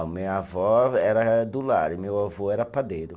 A minha avó era do lar e meu avô era padeiro.